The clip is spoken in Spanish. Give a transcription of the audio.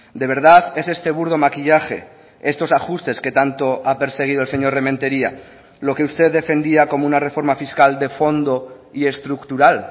de verdad es este burdo maquillaje estos ajustes que tanto ha perseguido el señor rementeria lo que usted defendía como una reforma fiscal de fondo y estructural